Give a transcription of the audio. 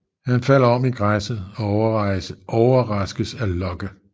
Han falder om i græsset og overraskes af Locke